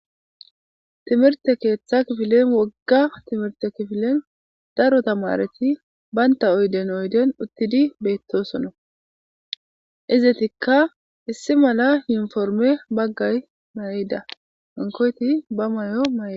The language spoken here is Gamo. Timirtte keeththa kifilen wogga kifilen daro tamareti banta oyden oyden uttidi beettosona. Izetikka issi mala yuniporme bagga mayida. Hankkoyti ba mayo mayida.